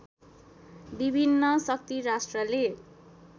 विभिन्न शक्तिराष्ट्रले